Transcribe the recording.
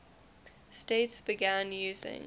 states began using